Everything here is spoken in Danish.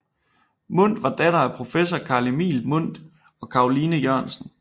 Mundt var datter af professor Carl Emil Mundt og Caroline Jørgensen